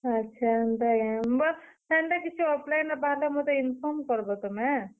ଆଛା ହେନ୍ତା କେଁ?ବୁଆ, ହେନ୍ତା କିଛି offline ରେ ବାହାରିଲେ ମତେ inform କର୍ ବ ତୁମେ।